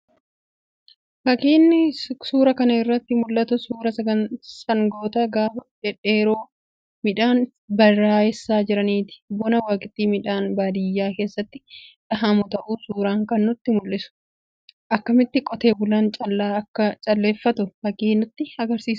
Fakiin suuraa kana irraa mul'atu suuraa sangoota gaafa dhedheeroo midhaan baraayessaa jiraniiti. Bona waqtii midhaan baadiyaa keessatti dhahamu ta'uu suuraan kun nutti mul'isa. Akkamitti qotee bulaan callaa akka calleeffatu fakii nutti agarsiisudha.